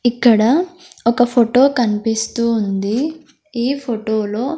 ఇక్కడ ఒక ఫోటో కనిపిస్తూ ఉంది ఈ ఫోటోలో --